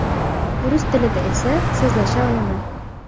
Rus tilida esa so‘zlasha olaman.